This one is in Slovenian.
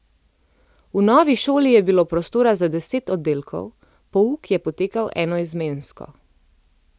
V novi šoli je bilo prostora za deset oddelkov, pouk je potekal enoizmensko.